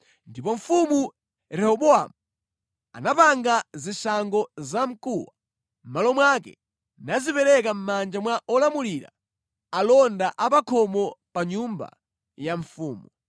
Ndipo Mfumu Rehobowamu anapanga zishango zamkuwa mʼmalo mwake, nazipereka mʼmanja mwa olamulira alonda a pa khomo pa nyumba ya mfumu.